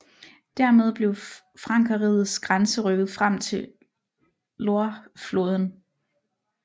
Dermed blev frankerrigets grænse rykket frem til Loirefloden